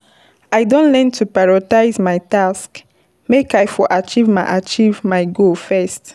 I don learn to prioritize my tasks make I for achieve my achieve my goals fast.